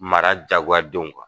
Mara jagoya denw kan.